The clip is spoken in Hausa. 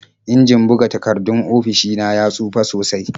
Injin buga takardun ofishi na ya tsufa sosai.